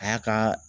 A y'a kaa